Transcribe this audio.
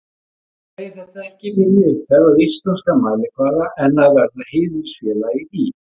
Hún segir þetta ekki minni upphefð á íslenskan mælikvarða en að verða heiðursfélagi í